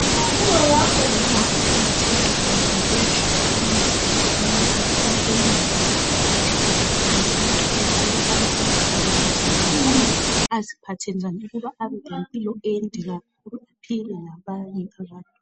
udokotela uqakathekile ngoba uyahlola umzimba womuntu yonke indawo ngaphandle langa phakathi axwayise ukubana azivikele njani njalo aziphathe njani ukuba lempilo ende kakhulu aphile labanye abantu.